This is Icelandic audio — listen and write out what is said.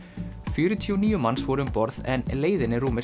fjörutíu og níu manns voru um borð en leiðin er rúmir